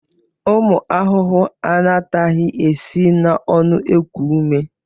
Ụmụ ahụhụ anataghị esi n'ọnụ eku ume.